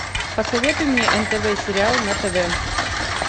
посоветуй мне нтв сериал на тв